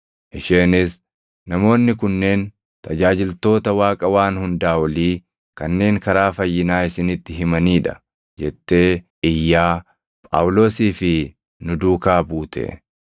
Isheenis, “Namoonni kunneen tajaajiltoota Waaqa Waan Hundaa Olii kanneen karaa fayyinaa isinitti himanii dha” jettee iyyaa Phaawulosii fi nu duukaa buute.